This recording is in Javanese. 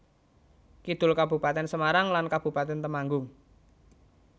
Kidul Kabupatèn Semarang lan Kabupatèn Temanggung